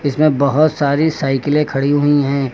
इसमें बहुत सारी साइकिलें खड़ी हुई हैं।